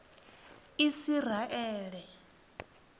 isiraele